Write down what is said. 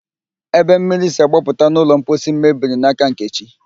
Ebe mmiri si agbapụta n'ụlọ mposi m mebiri n'aka Nkechi